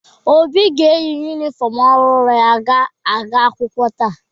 Obi ga-eyi yunifọmụ ọhụrụ ya ga-aga akwụkwọ taa.